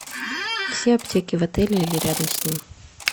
все аптеки в отеле или рядом с ним